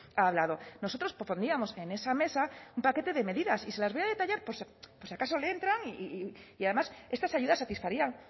ha hablado nosotros propondríamos en esa mesa un paquete de medidas y se las voy a detallar por si acaso le entran y además estas ayudas satisfarían